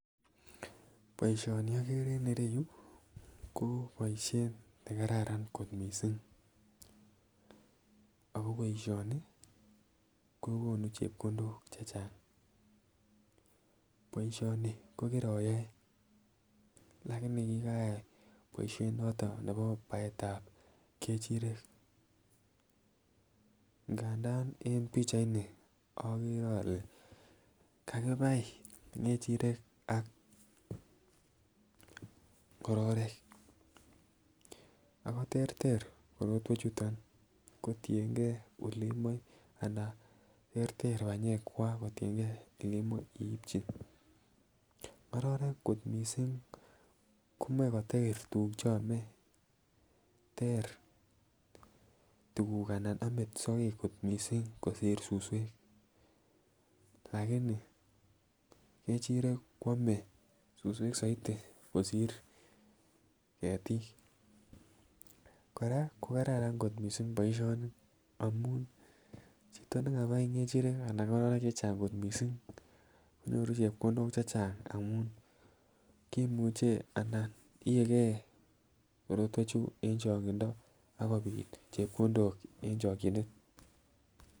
Boisioni okere en ireyu ko boisiet nekararan kot missing ako boisioni kokonu chepkondok chechang. Boisioni ko kiroyoe lakini kikayai boisionoton nebo baetab ng'echirek ngandan en pichait ni okere ole kakibai ng'echirek ak ng'ororik ako terter korotwechuton kotiengei olemoe anan terter banyekkwak kotiengei elemoe iipchi. ng'ororik kot missing komoe koter tuguk cheome ter tuguk anan ome sokek kot missing kosir suswek lakini ng'echirek koame suswek soiti kosir ketiik. kora kokararan kot missing boisioni amun chito nekabai ng'echirek anan ng'ororik chechang kot missing konyoru chepkondok chechang amun kimuche anan iege korotwechu en chong'indo akobit chepkondok en chokyinet